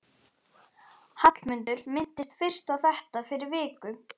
Hallmundur minntist fyrst á þetta fyrir viku.